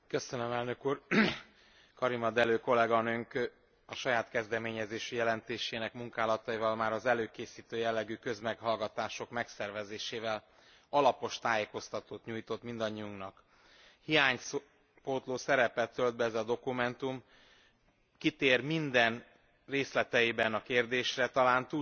Karima Delli kolléganőnk saját kezdeményezésű jelentésének munkálataival már az előkészítő jellegű közmeghallgatások megszervezésével alapos tájékoztatót nyújtott mindannyiunknak. Hiánypótló szerepet tölt be ez a dokumentum, kitér minden részletében a kérdésre, talán túlságosan is részletesen,